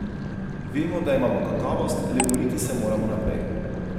Vemo, da imamo kakovost, le boriti se moramo naprej.